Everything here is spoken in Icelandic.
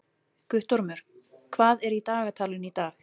Guttormur, hvað er í dagatalinu í dag?